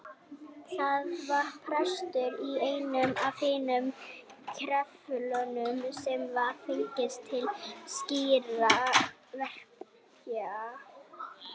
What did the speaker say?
Það var prestur í einum af hinum klefunum sem var fenginn til slíkra verka.